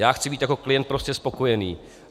Já chci být jako klient prostě spokojen.